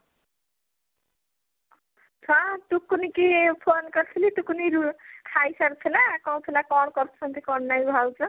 ହଁ ଟୁକୁନି କି phone କରିଥିଲି ଟୁକୁନି ରୁ ଖାଇ ସାରିଥିଲା କହୁଥିଲା କଣ କରୁଛନ୍ତି କଣ ନାଇଁ ଭାଉଜ